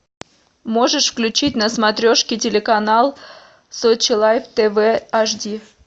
можешь включить на смотрешке телеканал сочи лайф тв аш ди